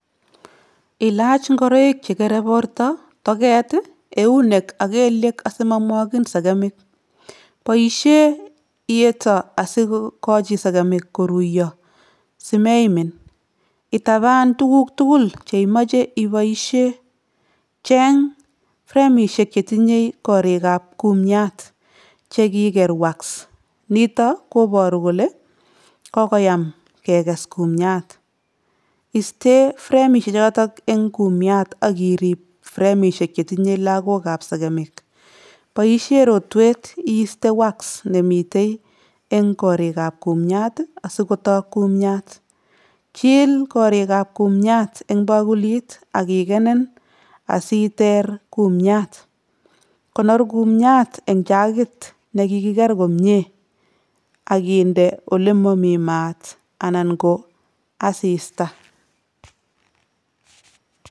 Ilach ingoroik chegere borto, toget ii, eunek ak kelyek asimamwagin segemik. Boisien iyeto asigogachi segemik koruiyoso, simeimin. Itaban tuguk tugul cheimache ibaisien. cheng fremisiek che tinyei korikab kumiat chegiger ''[wax]''. Nito kobaru kole kokoyam keges kumiat. Isten fremisiek chotok eng kumiat ak irib fremisiek chetinyei lagokab segemik. Boisien rotwet iiste ''[wax]'' nemitei eng korikab kumiat asikotok kumiat. Chil korikab kumiat eng bakulit ak ikenen asiter kumiat. Konor kumiat eng chagit ne kigiger komia ak inde olemami mat anan ko asista.